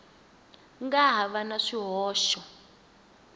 nga ha va na swihoxo